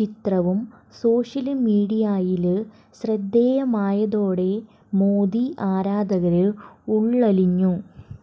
ചിത്രവും സോഷ്യല് മീഡിയയില് ശ്രദ്ധേയമായതോടെ മോദി ആരാധകര് ഉള്വലിഞ്ഞു